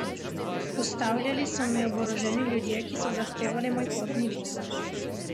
Ustavljali so me oboroženi ljudje, ki so zahtevali moj potni list.